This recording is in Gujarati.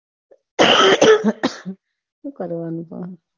સુ કરવાનું હવે